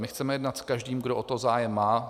My chceme jednat s každým, kdo o to zájem má.